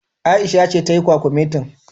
Aisha ce tayi kwakumetin.